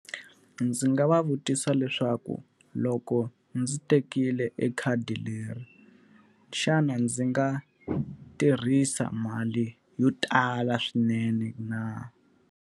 Ndzi nga va vutisa leswaku loko ndzi tekile ekhadi leri, xana ndzi nga tirhisa mali yo tala swinene na?